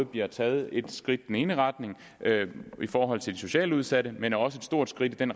bliver taget et skridt i den ene retning i forhold til de socialt udsatte men også et stort skridt i den